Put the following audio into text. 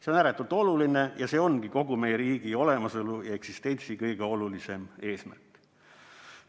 See on ääretult oluline ja see ongi kogu meie riigi olemasolu ja eksistentsi kõige olulisem eesmärk.